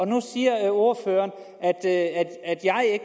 nu siger ordføreren at